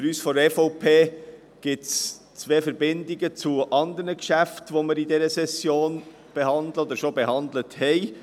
Für uns von der EVP bestehen zwei Verbindungen zu anderen Geschäften, die wir in dieser Session behandeln oder bereits behandelt haben.